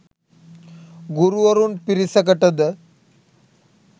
ගුරුවරුන් පිරිසකටද